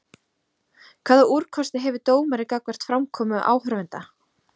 Hvaða úrkosti hefur dómari gagnvart framkomu áhorfenda?